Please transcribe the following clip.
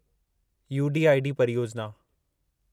UDID परियोजिना